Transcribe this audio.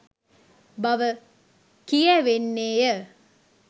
බව කියැවෙන්නේ ය